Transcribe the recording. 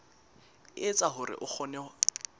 e etsa hore o kgone